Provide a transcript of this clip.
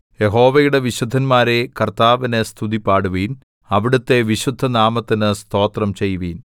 യഹോവയുടെ വിശുദ്ധന്മാരേ കർത്താവിന് സ്തുതിപാടുവിൻ അവിടുത്തെ വിശുദ്ധനാമത്തിന് സ്തോത്രം ചെയ്‌വിൻ